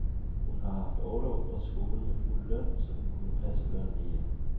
Hun har haft orlov fra skolen med fuld løn, så hun kunne passe børnene hjemme.